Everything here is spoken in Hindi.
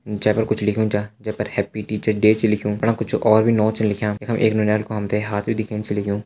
जै पर कुछ लिख्युं छा जै पर हैप्पी टीचरस डे छ लिख्युं वफणा कुछ और भी नौ छन लिख्यां यखम हम ते एक नौनियाल कु हाथ भी दिखेण छ लग्युं।